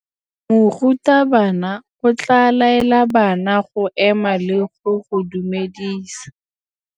Morutabana o tla laela bana go ema le go go dumedisa.